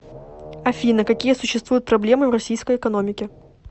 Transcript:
афина какие существуют проблемы в российской экономике